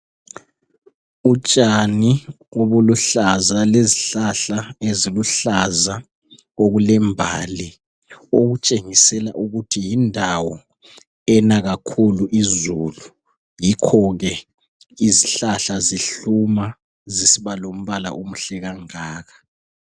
Utshani obuluhlaza lezihlahla eziluhlaza okulembali okutshengisela ukuthi yindawo ena kakhulu izulu yikho izihlahla zihluma zisiba lombala omuhle kangaka.